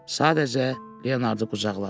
Sadəcə Leonardı qucaqladı.